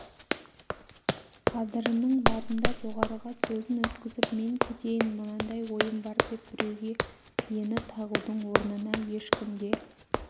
қадырының барында жоғарыға сөзін өткізіп мен кетейін мынандай ойым бар деп біреуге ені тағудың орнына ешкімге